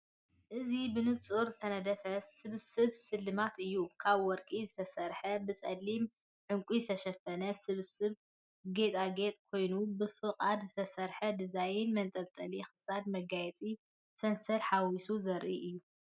እዚ ብንጹር ዝተነድፈ ስብስብ ስልማት እዩ። ካብ ወርቂ ዝተሰርሐን ብጸሊም ዕንቊታት ዝተሸፈነን ስብስብ ጌጣጌጥ ኮይኑ፡ ብፍቓድካ ዝተሰርሐ ዲዛይን መንጠልጠሊ ክሳድ፡ መጋየፂ ሰንሰለትን ሓዊሱ ዘርኢ እዩ።